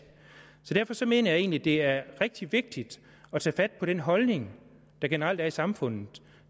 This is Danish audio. så derfor mener jeg egentlig at det er rigtig vigtigt at tage fat på den holdning der generelt er i samfundet